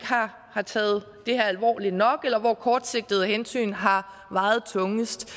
har taget det her alvorligt nok eller hvor kortsigtede hensyn har vejet tungest